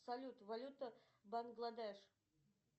салют валюта бангладеш